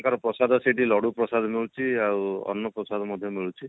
ତାଙ୍କର ପ୍ରସାଦ ସେଠି ଲଡୁ ଲଡୁ ପ୍ରସାଦ ମିଳୁଛି ଆଉ ଅନ୍ନ ପ୍ରସାଦ ମଧ୍ୟ ମିଳୁଛି